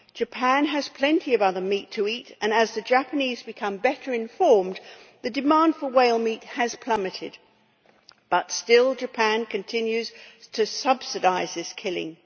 Japan has plenty of other meat to eat, and as the Japanese have become better informed the demand for whale meat has plummeted, but still Japan continues to subsidise this killing.